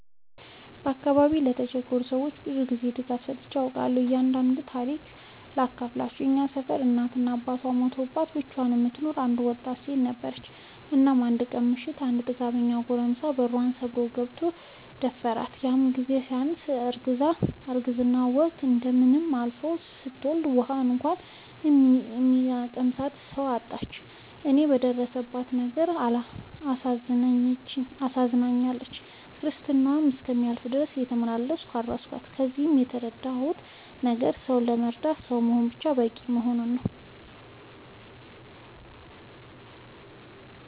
በአካባቢዬ ለተቸገሩ ሰዎች ብዙ ጊዜ ድጋፍ ሰጥቼ አውቃለሁ። አንዱን ታሪኬን ሳካፍላችሁ እኛ ሰፈር እናት እና አባቷ ሞተውባት ብቻዋን የምትኖር አንድ ወጣት ሴት ነበረች። እናም አንድ ቀን ምሽት አንድ ጥጋበኛ ጎረምሳ በሯን ሰብሮ ገብቶ ደፈራት። ይህም ሳያንሳት አርግዛ የረግዝናዋ ወቅት እንደምንም አልፎ ስትወልድ ውሀ እንኳን የሚያቀምሳት ሰው አጣች። እኔም በደረሰባት ነገር ስላሳዘነችኝ ክርስትናዋ እስኪያልፍ ድረስ እየተመላለስኩ አረስኳት። ከዚህ የተረዳሁት ነገር ሰው ለመርዳት ሰው መሆን በቂ እንደሆነ ነው።